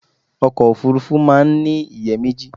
Ọkọ̀ Òfurufú máa ń ní ìyẹ́ méjì.